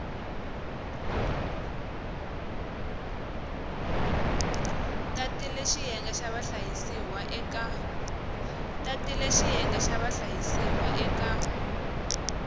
tatile xiyenge xa vahlayisiwa eka